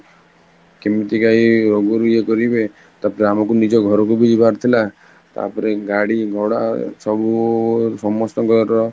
କେମିତିକା ଏଇ ରୋଗରୁ ୟେ ଜକକରିବେ, ତାପରେ ଆମକୁ ନିଜ ଘରକୁବି ଯିବାରଥିଲା ତାପରେ ଗାଡି ଭଡା ସବୁ ସମସ୍ତଙ୍କର